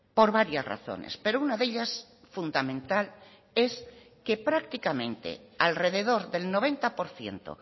por varias razones pero una de ellas fundamental es que prácticamente alrededor del noventa por ciento